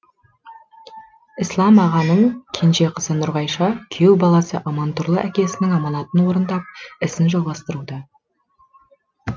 ісләм ағаның кенже қызы нұрғайша күйеу баласы амантұрлы әкесінің аманатын орындап ісін жалғастыруда